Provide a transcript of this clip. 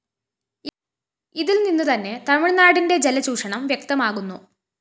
ഇതില്‍നിന്നുതന്നെ തമിഴ്‌നാടിന്റെ ജലചൂഷണം വ്യക്ത്തമാകുന്നു